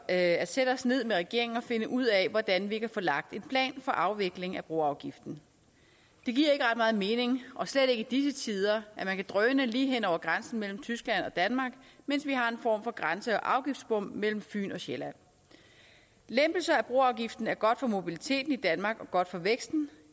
at sætte os ned med regeringen og finde ud af hvordan vi kan få lagt en plan for afvikling af broafgiften det giver ikke ret meget mening og slet ikke i disse tider at man kan drøne lige hen over grænsen mellem tyskland og danmark mens vi har en form for grænse og afgiftsbom mellem fyn og sjælland lempelse af broafgiften er godt for mobiliteten i danmark og godt for væksten